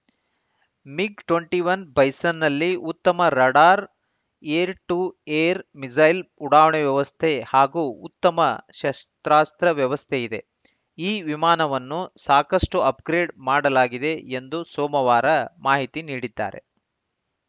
MiG twenty one ಬೈಸನ್‌ನಲ್ಲಿ ಉತ್ತಮ radar air to air missile ಉಡಾವಣೆ ವ್ಯವಸ್ಥೆ ಹಾಗೂ ಉತ್ತಮ ಶಸ್ತ್ರಾಸ್ತ್ರ ವ್ಯವಸ್ಥೆಯಿದೆ ಈ ವಿಮಾನವನ್ನು ಸಾಕಷ್ಟುಅಪ್‌ಗ್ರೇಡ್‌ ಮಾಡಲಾಗಿದೆ ಎಂದು ಸೋಮವಾರ ಮಾಹಿತಿ ನೀಡಿದ್ದಾರೆ